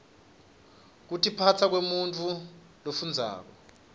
kutiphasa kwemuntfu lofundzako